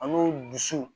An b'o dusu